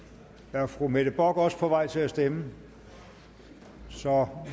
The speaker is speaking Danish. er fru mette bock også på vej til at stemme så